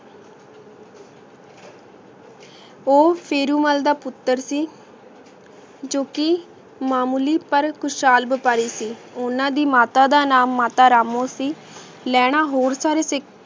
ਊ ਫੇਰੋ ਮਾਲ ਦਾ ਪੁਤਰ ਸੀ ਜੋ ਕੀ ਮੋਲੀ ਪਰ ਖੁਸ਼ ਹਾਲ ਵਪਾਰੀ ਸੀ ਓਹਨਾਂ ਦੀ ਮਾਤਾ ਦਾ ਨਾਮ ਮਾਤਾ ਰਾਮੋ ਸੀ ਲੈਣਾ ਹੋਰ ਸਾਰੇ ਤੇ